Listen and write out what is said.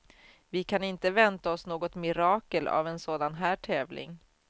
Vi kan inte vänta oss något mirakel av en sådan här tävling.